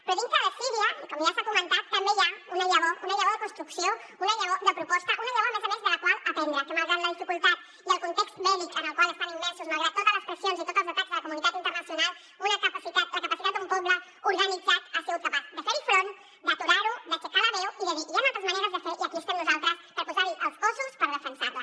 però dintre de síria com ja s’ha comentat també hi ha una llavor una llavor de construcció una llavor de proposta una llavor a més a més de la qual aprendre que malgrat la dificultat i el context bèl·lic en el qual estan immersos malgrat totes les pressions i tots els atacs de la comunitat internacional la capacitat d’un poble organitzat ha sigut capaç de fer hi front d’aturar ho d’aixecar la veu i de dir hi han altres maneres de fer i aquí estem nosaltres per posar hi els cossos per defensar la